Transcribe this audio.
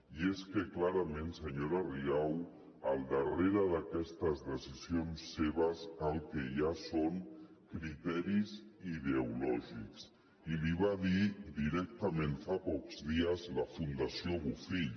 i és que clarament senyora rigau al darrere d’aquestes decisions seves el que hi ha són criteris ideològics i li ho va dir directament fa pocs dies la fundació bofill